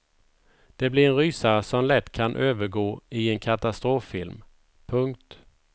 Det blir en rysare som lätt kan övergå i en katastroffilm. punkt